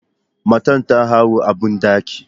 Matar ta haihu a bandaki.